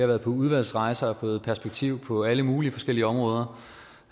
været på udvalgsrejser og har fået perspektiv på alle mulige forskellige områder